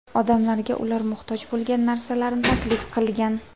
Odamlarga ular muhtoj bo‘lgan narsalarni taklif qilgan.